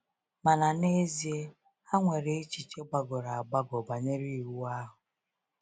Mana n’ezie, ha nwere echiche gbagọrọ agbagọ banyere Iwu ahụ.